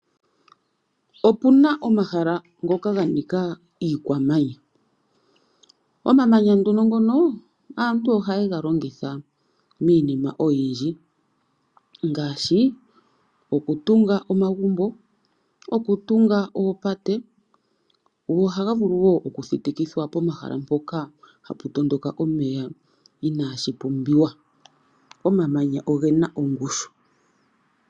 Opu na omahala ngoka ga nika iikwamanya. Omamanya nduno ngono aantu ohayega longitha miinima oyindji ngaashi okutunga omagumbo, okutunga oopate go ohaga vulu wo okuthitikithwa pomahala mpoka hapu tondoka omeya inaashi pumbiwa. Omamanya ogena ongushu.